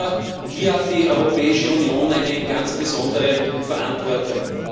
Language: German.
Aber hier hat die Europäische Union eine ganz besondere Verantwortung.